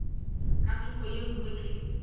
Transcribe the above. ka thoko ye nngwe ke